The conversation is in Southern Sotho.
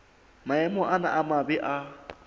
maemo ana a mabe a